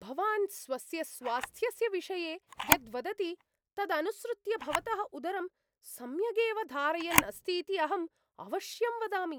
भवान् स्वस्य स्वास्थ्यस्य विषये यत् वदति तदनुसृत्य भवतः उदरं सम्यगेव धारयन् अस्तीति अहम् अवश्यं वदामि।